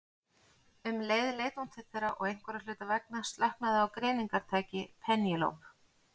Um leið leit hún til þeirra og einhverra hluta vegna slöknaði á greiningartæki Penélope.